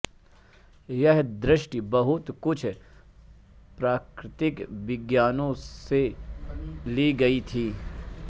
यह दृष्टि बहुत कुछ प्राकृतिक विज्ञानों से ली गयी थी